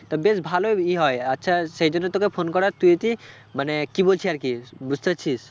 তা বেশ ভালোই ইয়ে হয় আচ্ছা সেই জন্যই তোকে phone করা তুই কি মানে কি বলছি আর কি বুঝতে পারছিস?